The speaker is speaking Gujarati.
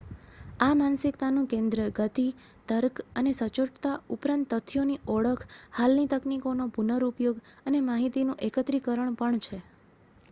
આ માનસિકતાનું કેન્દ્ર ગતિ તર્ક અને સચોટતા ઉપરાંત તથ્યોની ઓળખ હાલની તકનીકોનો પુનરુપયોગ અને માહિતીનું એકત્રીકરણ પણ છે